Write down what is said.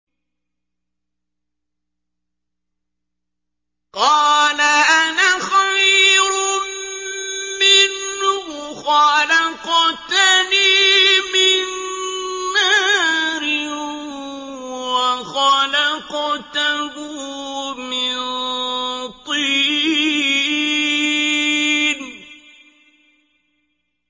قَالَ أَنَا خَيْرٌ مِّنْهُ ۖ خَلَقْتَنِي مِن نَّارٍ وَخَلَقْتَهُ مِن طِينٍ